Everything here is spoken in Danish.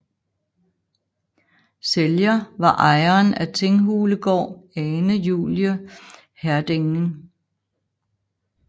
Sælger var ejeren af Tinghulegård Ane Julie Heerdegen